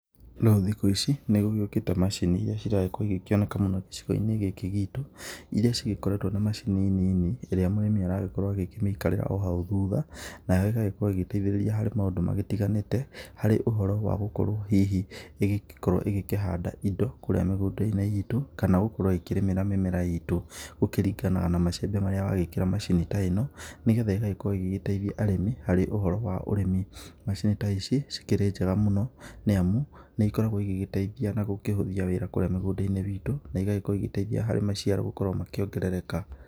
ĩno thikũ ici nĩgũgĩũkĩte macini iria ciragĩkorwo igĩkĩoneka mũno gukũ gĩcigo-inĩ gĩkĩ gitũ, iria cigĩkoretwo nĩ macini nini, ĩrĩa mũrĩmi aragĩkorwo agĩkĩmĩikarĩra o hau thutha nayo ĩgakorwo ĩgĩteithĩrĩria harĩ maũndũ magĩtiganĩte harĩ ũhoro wa gũkorwo hihi ĩgĩgĩkorwo ĩgĩkĩhanda indo kũrĩa mĩgũnda-inĩ itũ, kana gũkorwo ikĩrĩmĩra mĩmera itũ. Gũkĩringanaga na macembe marĩa ũragĩkĩra macini ta ĩno, nĩ getha ĩgagĩkorwo ĩgĩgĩteithia arĩmi harĩ ũhoro wa ũrimi. Macini ta ici cikĩrĩ njega mũno nĩ amu, nĩ ikoragwo igĩgĩteithia na gũkĩhũthia wĩra kũrĩa mĩgũnda-inĩ witũ na igagĩkorwo igĩteithia harĩ maciaro gũkorwo makĩongerereka.